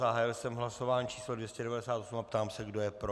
Zahájil jsem hlasování číslo 298 a ptám se, kdo je pro?